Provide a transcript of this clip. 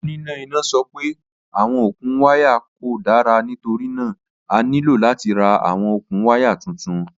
Onina ina sọ pe awọn okun waya ko dara nitorina a nilo lati ra awọn okun waya tuntun.